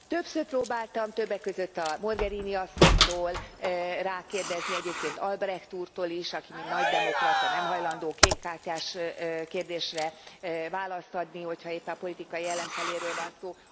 Többször próbáltam, többek között a Mogherini asszonytól rákérdezni, egyébként Albrecht úrtól is, aki mint nagy demokrata, nem hajlandó kékkártyás kérdésre választ adni, hogyha éppen politikai ellenfeléről van szó.